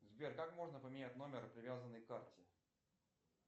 сбер как можно поменять номер привязанный к карте